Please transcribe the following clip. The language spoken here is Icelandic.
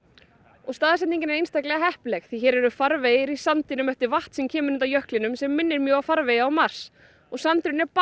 og staðsetningin er einstaklega heppileg því hér eru farvegir í sandinum eftir vatn sem kemur undan jöklinum sem minnir mjög á farvegi á mars og sandurinn er